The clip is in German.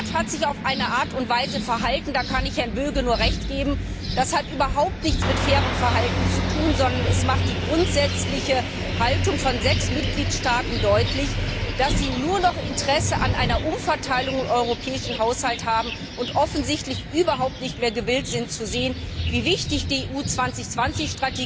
Der Rat hat sich auf eine Art und Weise verhalten da kann ich Herrn Böge nur Recht geben die überhaupt nichts mit fairem Verhalten zu tun hat, sondern dies macht die grundsätzliche Haltung von sechs Mitgliedstaaten deutlich, die nur noch Interesse an einer Umverteilung im europäischen Haushalt haben und offensichtlich überhaupt nicht mehr gewillt sind zu sehen, wie wichtig die Strategie Europa 2020